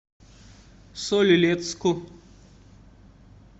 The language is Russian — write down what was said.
соль илецку